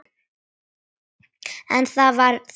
En það var þess virði.